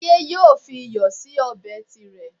Táyé yóò fi iyọ̀ sí ọbẹ̀ tirẹ̀